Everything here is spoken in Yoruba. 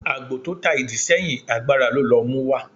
ágbò tọ tá ìdí seyín, àgbará lọ ló muwa.